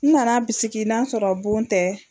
N nana bisigi n'a sɔrɔ bon tɛ,